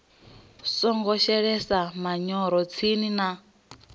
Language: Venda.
songo shelesa manyoro tsini na